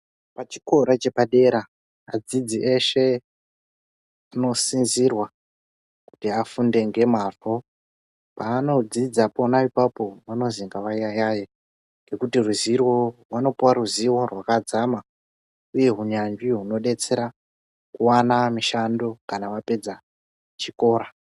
Pachikora chepadera adzidzi eshe anosisirwa kuti afunde nemazvo panodzidza pona apapo vanonzi ngavayayaye ngekuti ruzivo vanopuwa ruzivo rwakadzama uye hinyanzvi huno detsera kuwana mushando kana vapedza chikora.